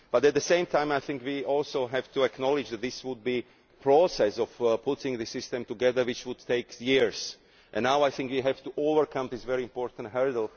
But at the same time I think we also have to acknowledge that this is a process of putting the system together which would take years, and now I think we have to overcome this very important hurdle.